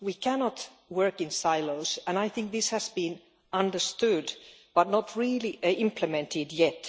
We cannot work in silos, and I think this has been understood but not really implemented yet.